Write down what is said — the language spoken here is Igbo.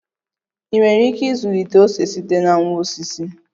Ị nwere ike ịzụlite ose site na nwa osisi?